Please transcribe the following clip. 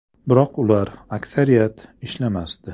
Biroq ular, aksariyat, ishlamasdi.